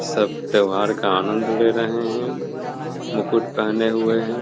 सब त्योहार का आनंद ले रहे हैं मुकुट पहने हुए हैं।